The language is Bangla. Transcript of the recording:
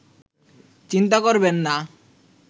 চিন্তা করবেন না